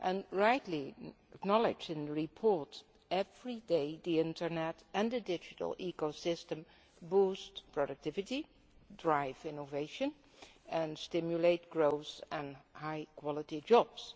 As rightly acknowledged in this report, every day, the internet and the digital ecosystem boost productivity, drive innovation, and stimulate growth and high quality jobs.